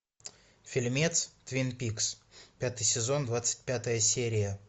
фильмец твин пикс пятый сезон двадцать пятая серия